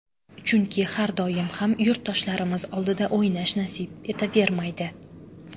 Chunki har doim ham yurtdoshlarimiz oldida o‘ynash nasib etavermaydi.